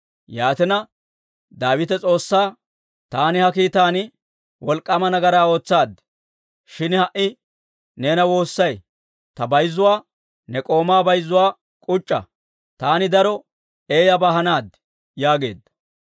Yaatina Daawite S'oossaa, «Taani ha kiitan wolk'k'aama nagaraa ootsaad. Shin ha"i neena woossay; ta bayzuwaa, ne k'oomaa bayzuwaa k'uc'c'a. Taani daro eeyyabaa hanaad» yaageedda.